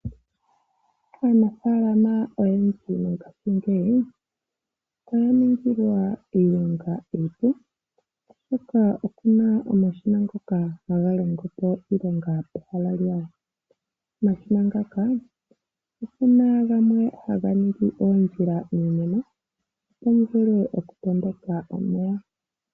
Aanafaalama oyendji mongashingeyi oya ningilwa iilonga iipu oshoka okuna omashina ngoka haga longo po iilonga pehala lyawo. Omashina ngaka opuna gamwe haga ningi oondjila miimeno opo mu vule okutondoka omeya.